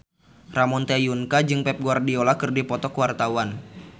Ramon T. Yungka jeung Pep Guardiola keur dipoto ku wartawan